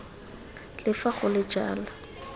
le fa go le jalo